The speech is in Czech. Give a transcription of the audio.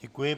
Děkuji.